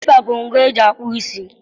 klippa bụ ngwa eji akpụ isi.